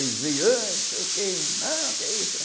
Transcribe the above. Aí veio, ãh não sei o que, não, o que é isso, né?